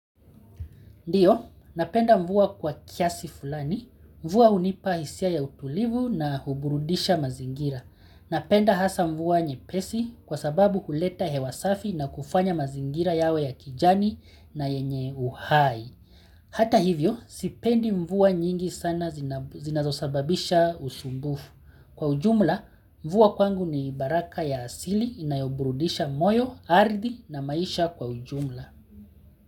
Ndio, napenda mvua kwa kiasi fulani, mvua hunipa hisia ya utulivu na huburudisha mazingira. Napenda hasa mvua nyepesi kwasababu huleta hewa safi na kufanya mazingira yawe ya kijani na yenye uhai. Hata hivyo, sipendi mvua nyingi sana zinazosababisha usumbufu. Kwa ujumla, mvua kwangu ni baraka ya asili na huburudisha moyo, ardhi na maisha kwa ujumla.